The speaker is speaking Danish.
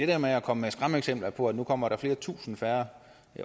der med at komme med skræmmeeksempler på at nu kommer der flere tusind færre